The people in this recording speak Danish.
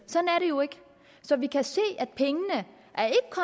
jo ikke så vi kan se